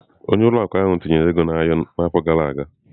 Onye isi ụlọ akụ ahụ tinyere ego n'ahịa n'afọ gara aga.